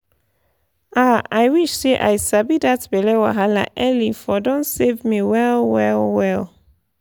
ah i wish say i sabi that belly wahala early for don save me well well well